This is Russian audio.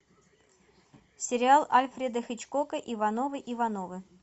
сериал альфреда хичкока ивановы ивановы